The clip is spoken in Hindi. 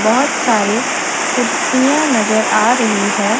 बहोत सारे कुर्सियां नजर आ रही है।